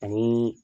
Ani